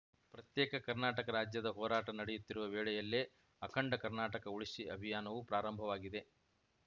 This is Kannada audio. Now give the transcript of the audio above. ಪ್ರತ್ಯೇಕ ಕರ್ನಾಟಕ ರಾಜ್ಯದ ಹೋರಾಟ ನಡೆಯುತ್ತಿರುವ ವೇಳೆಯಲ್ಲೇ ಅಖಂಡ ಕರ್ನಾಟಕ ಉಳಿಸಿ ಅಭಿಯಾನವೂ ಪ್ರಾರಂಭವಾಗಿದೆ